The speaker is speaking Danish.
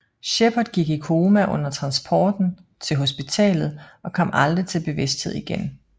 Shepard gik i koma under transporten til hospitalet og kom aldrig til bevidsthed igen